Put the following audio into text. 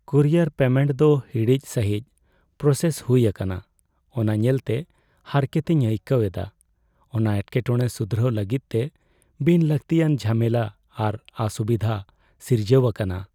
Courier payment ᱫᱚ ᱦᱤᱲᱤᱡ ᱥᱟᱹᱦᱤᱡ ᱯᱨᱚᱥᱮᱥ ᱦᱩᱭ ᱟᱠᱟᱱᱟ ᱚᱱᱟ ᱧᱮᱞᱛᱮ ᱦᱟᱨᱠᱮᱛᱤᱧ ᱟᱹᱭᱠᱟᱹᱣ ᱮᱫᱟ, ᱚᱱᱟ ᱮᱴᱠᱮᱴᱚᱬᱮ ᱥᱩᱫᱷᱨᱟᱹᱣ ᱞᱟᱹᱜᱤᱫᱛᱮ ᱵᱤᱱ ᱞᱟᱹᱠᱛᱤᱭᱟᱱ ᱡᱷᱟᱢᱮᱞᱟ ᱟᱨ ᱚᱥᱩᱵᱤᱫᱷᱟ ᱥᱤᱨᱡᱟᱹᱣ ᱟᱠᱟᱱᱟ ᱾